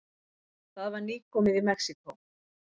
Það var nýkomið í Mexíkó.